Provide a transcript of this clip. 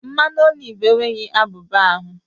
Mmanụ oliv enweghị abuba ahu